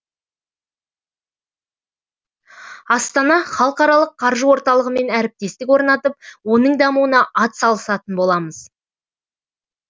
астана халықаралық қаржы орталығымен әріптестік орнатып оның дамуына атсалысатын боламыз